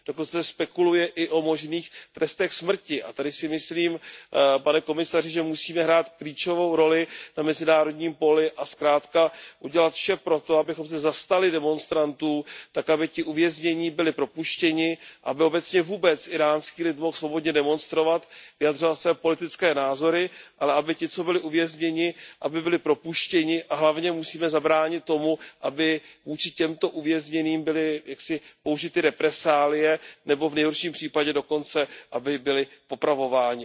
Dokonce se spekuluje i o možných trestech smrti a tady si myslím, pane komisaři, že musíme hrát klíčovou roli na mezinárodním poli a zkrátka udělat vše proto, abychom se zastali demonstrantů tak, aby ti uvěznění byli propuštěni, aby obecně vůbec íránský lid mohl svobodně demonstrovat, vyjadřovat své politické názory, ale aby ti, co byli uvězněni, aby byli propuštěni, a hlavně musíme zabránit tomu, aby vůči těmto uvězněným byly jaksi použity represálie nebo v nejhorším případě dokonce, aby byli popravováni.